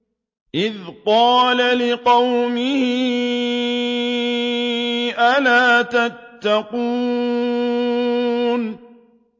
إِذْ قَالَ لِقَوْمِهِ أَلَا تَتَّقُونَ